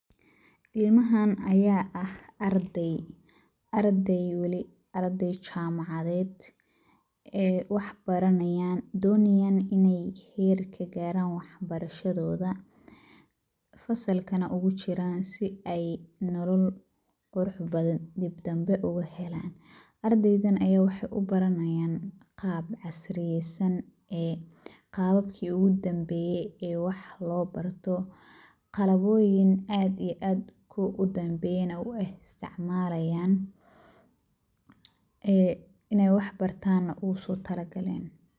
Ilmahaan ayaa ah arday, arday weli arday jaamacadeed ee waxbaranayaan doonayaan in ay heer ka gaaraan waxbarashadooda fasalkana ugu jiraan si ay nolol qurux badan dibdambe ugu helaan. Ardaydan ayaa wax ubaranayaan qaab casriyaysan ee qaabakii ugu dambeeyay ee wax loo barto. Qalabooyin aad iyo aad kuwa u dambeeyana u eh waay istacmaalayaan ee inay wax bartaana ugu soo talagaleen.